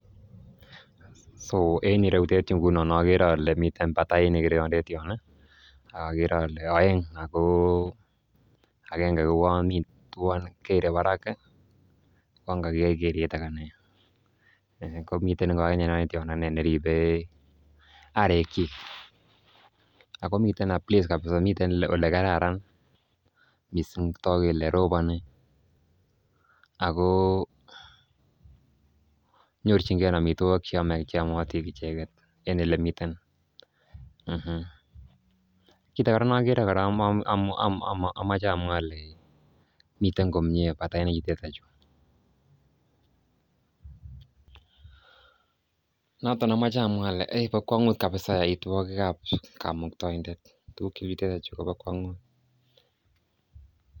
So en ireyutet okere ole miten batainik ireyondet yon ih ak okere ole oeng ako agenge kouon kere barak ih uon koker keret anan nee komiten ngunon akinee tiondo neribe arek kyik akomiten a place kabisa miten olekararan missing togu kole roboni ako nyorchingee amitwogik cheyomotin icheket en elemiten um Kit age nokere kora amoche amwaa ole miten komie batainik chutet chu noton amoche amwaa ole bo kwong'ut kabisa yoitwogik ab komuktoindet tuguk chemiten yuu kobo kwong'ut